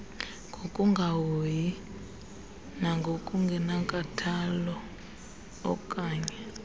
ngokungahoyi nangokungenankathalo okannye